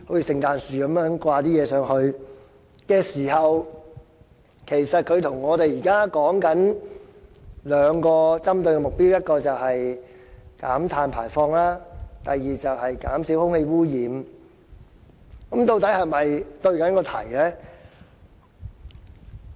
事實上，究竟它與我們現時所說的兩個針對目標：第一個是減低碳排放，第二個是減少空氣污染，是否對題呢？